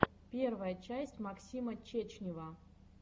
первая часть максима чечнева